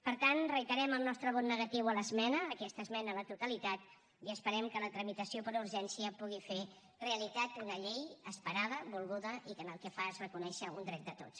per tant reiterem el nostre vot negatiu a l’esmena aquesta esmena a la totalitat i esperem que la tramitació per urgència pugui fer realitat una llei esperada volguda i que el que fa és reconèixer un dret de tots